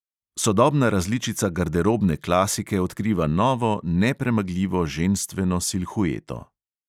Sodobna različica garderobne klasike odkriva novo, nepremagljivo ženstveno silhueto.